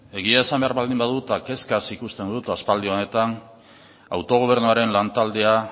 egia esan behar baldin badut kezkaz ikusten dut aspaldi honetan autogobernuaren lantaldea